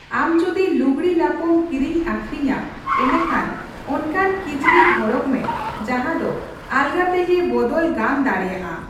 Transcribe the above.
ᱟᱢ ᱡᱚᱫᱤ ᱞᱩᱜᱽᱲᱤ ᱞᱟᱯᱚᱢ ᱠᱤᱨᱤᱧᱼᱟᱹᱠᱷᱤᱨᱤᱧᱟ, ᱮᱸᱰᱮᱠᱷᱟᱱ ᱚᱱᱠᱟᱱ ᱠᱤᱪᱨᱤᱡᱽ ᱦᱚᱨᱚᱜᱽ ᱢᱮ ᱡᱟᱦᱟᱸ ᱫᱚ ᱟᱞᱜᱟ ᱛᱮᱜᱮ ᱵᱚᱫᱚᱞ ᱜᱟᱱ ᱫᱟᱲᱮᱭᱟᱜ ᱟ ᱾